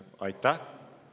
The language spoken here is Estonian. Aitäh!